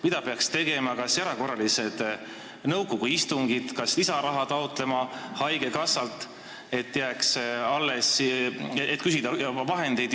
Mida peaks tegema – kas erakorralised nõukogu istungid, kas taotlema haigekassalt lisaraha?